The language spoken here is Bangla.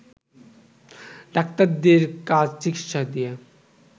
ডাক্তারদের কাজ চিকিৎসা দিয়ে